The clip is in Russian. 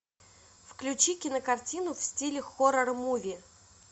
включи кинокартину в стиле хоррор муви